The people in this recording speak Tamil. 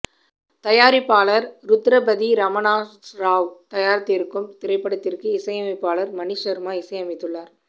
தயாரிப்பாளர் ருத்ரபதி ரமணா ராவ் தயாரித்திருக்கும் இப்படத்திற்கு இசையமைப்பாளர் மணி சர்மா இசையமைத்துள்ளார்